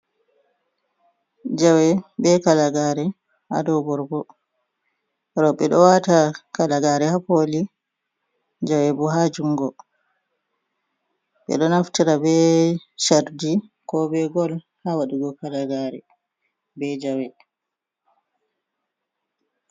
Jawe be kalagare haa dow borgo. Rowɓe ɗo wata kalagare haa koli jawe bo haa juungo. Ɓe ɗo naftira be cardi ko be gol haa waɗugo kalagare be jawe.